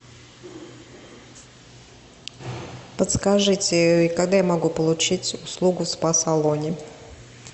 подскажите когда я могу получить услугу в спа салоне